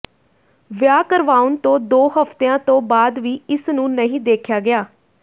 ਵਿਆਹ ਕਰਵਾਉਣ ਤੋਂ ਦੋ ਹਫ਼ਤਿਆਂ ਤੋਂ ਬਾਅਦ ਵੀ ਇਸ ਨੂੰ ਨਹੀਂ ਦੇਖਿਆ ਗਿਆ